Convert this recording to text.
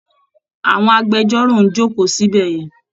Àwọn agbẹjọ́rò ń jókòó síbẹ̀ yẹn